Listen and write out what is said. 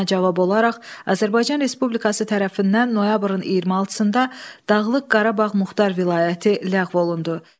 Buna cavab olaraq Azərbaycan Respublikası tərəfindən noyabrın 26-da Dağlıq Qarabağ Muxtar Vilayəti ləğv olundu.